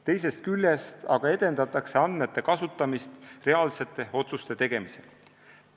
Teisest küljest aga edendatakse andmete kasutamist reaalsete otsuste tegemisel.